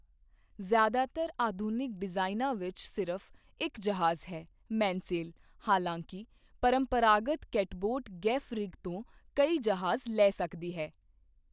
ਜ਼ਿਆਦਾਤਰ ਆਧੁਨਿਕ ਡਿਜ਼ਾਈਨਾਂ ਵਿੱਚ ਸਿਰਫ਼ ਇੱਕ ਜਹਾਜ਼ ਹੈ, ਮੇਨਸੈਲ, ਹਾਲਾਂਕਿ, ਪਰੰਪਰਾਗਤ ਕੈਟਬੋਟ ਗੈਫ ਰਿਗ ਤੋਂ ਕਈ ਜਹਾਜ਼ ਲੈ ਸਕਦੀ ਹੈ।